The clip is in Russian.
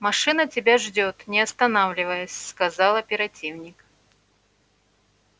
машина тебя ждёт не останавливаясь сказал оперативник